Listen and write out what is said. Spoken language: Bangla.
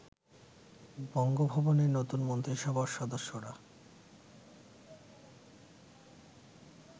বঙ্গভবনে নতুন মন্ত্রিসভার সদস্যরা